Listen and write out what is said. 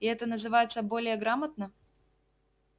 и это называется более грамотно